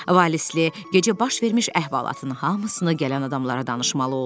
Valisli gecə baş vermiş əhvalatının hamısını gələn adamlara danışmalı oldu.